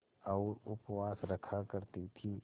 और उपवास रखा करती थीं